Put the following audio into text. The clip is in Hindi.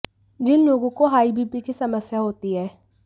जिन लोगों को हाई बीपी की समस्या होती है